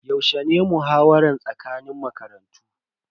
Yaushe ne muhawara tsakanin makarantun?